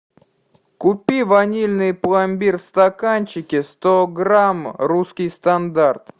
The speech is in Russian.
купи ванильный пломбир в стаканчике сто грамм русский стандарт